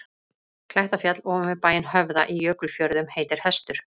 Klettafjall ofan við bæinn Höfða í Jökulfjörðum heitir Hestur.